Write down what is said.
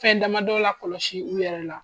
Fɛn damadɔ lakɔlɔsi u yɛrɛ la.